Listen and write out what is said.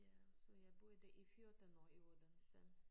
Ja så jeg boede i 14 år i Odense